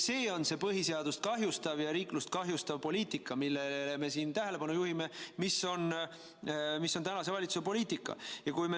See on see põhiseadust kahjustav ja riiklust kahjustav poliitika, millele me siin tähelepanu juhime, aga see on tänase valitsuse poliitika.